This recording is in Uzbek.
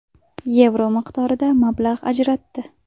yevro miqdorida mablag‘ ajratdi.